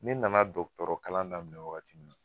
Ne nana dɔktɔrɔ kalan daminɛ wagati min na